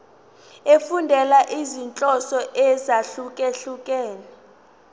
efundela izinhloso ezahlukehlukene